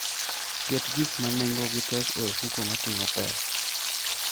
Ket gik ma nengogi tek e ofuko moting'o pesa.